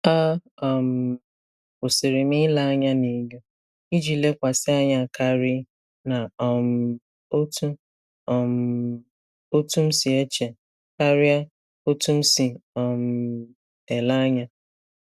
A um kwụsịrị m ile anya na enyo iji lekwasị anya karị na um otú um otú m si eche karịa otú m si um ele anya.